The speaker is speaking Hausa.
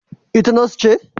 Ita Nurse ce?